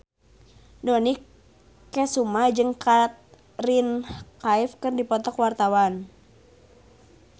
Dony Kesuma jeung Katrina Kaif keur dipoto ku wartawan